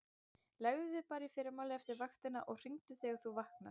Leggðu þig bara í fyrramálið eftir vaktina og hringdu þegar þú vaknar.